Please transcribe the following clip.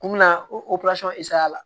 Kun bɛ na o la